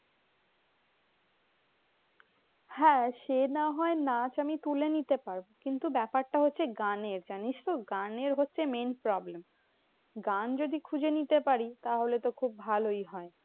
হ্যাঁ সে না হয় নাচ আমি তুলে নিতে পারবো। কিন্তু ব্যাপারটা হচ্ছে গানের জানিসতো? গানের হচ্ছে main problem. গান যদি খুঁজে নিতে পারি। তাহলে তো খুব ভালোই হয়।